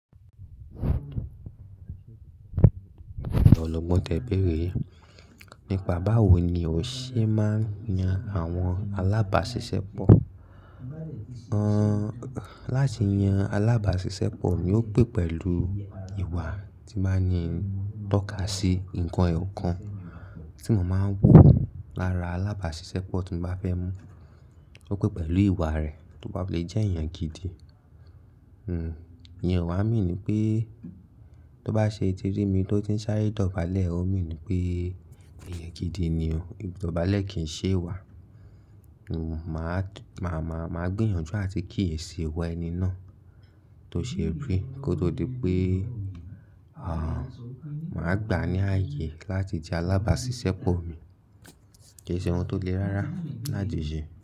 Ologbọ́n tẹ béèrè yi, nípa báwo ni o ṣe máa ń yan àwọn alábàáṣiṣẹ́pọ̀? Láti yan alábàáṣiṣẹ́pọ̀ ni ó pé pẹ̀lú ìwà tí máa ní tọ́ka sí ǹkan eyọ̀kan tí mo máa ń wò lára alábàáṣiṣẹ́pọ̀ tí mo bá fẹ́ mú. Ó pé pẹ̀lú ìwà rẹ̀, tó bá fi lè jẹ́ èèyàn gidi. Hmm, ìyẹn o wà mean pé tó bá ṣe tirí mí tó ti ń sáré dọ̀bálẹ̀, ó mean pé èèyàn gidi ni o, idọ̀bálẹ̀ kì í ṣe wà. Hmm, màá, màá, màá gbìyànjú àti kíyèsi ìwà ẹni náà tó ṣe rí kó tó di pé, àh, màá gbà á ní ààyè láti je alábàáṣiṣẹ́pọ̀ mi. Kì í ṣe ohun tó le rárá láti ṣe.